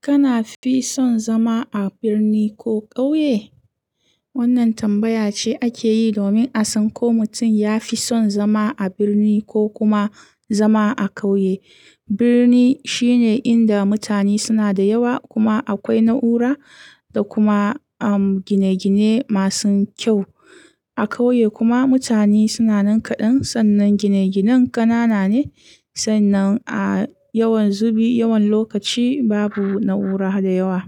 Kana fi son zama a birni ko ƙauye? Wannan tambaya ce ake yi domin a san ko mutum ya fi son zama a birni ko kuma zama a ƙauye. Birni shine inda mutane suna da yawa kuma akwai na'ura da kuma, um, gine-gine masu kyau. A ƙauye kuma mutane suna nan kaɗan sannan gine-ginen ƙanana ne sannan, a yawan zubi, yawan lokaci babu na'ura da yawa.